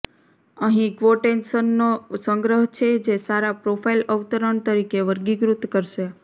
અહીં ક્વોટેશનનો સંગ્રહ છે જે સારા પ્રોફાઇલ અવતરણ તરીકે વર્ગીકૃત કરશે